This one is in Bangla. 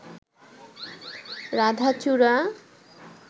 রাধাচূড়া